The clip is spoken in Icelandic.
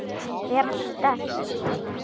Vera sterk.